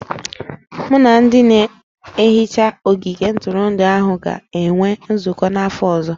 Mụ na ndị na-ehicha ogige ntụrụndụ ahụ ga-enwe nzụkọ n'afọ ọzọ